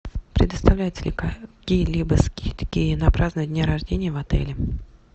предоставляются ли какие либо скидки на празднование дня рождения в отеле